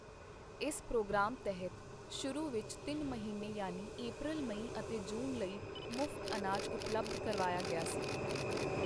ਇਸ ਪ੍ਰੋਗਰਾਮ ਤਹਿਤ ਸ਼ੁਰੂ ਵਿੱਚ ਤਿੰਨ ਮਹੀਨੇ ਯਾਨੀ ਅਪ੍ਰੈਲ, ਮਈ ਅਤੇ ਜੂਨ ਲਈ ਮਫ਼ਤ ਅਨਾਜ ਉਪਲੱਬਧ ਕਰਵਾਇਆ ਗਿਆ ਸੀ।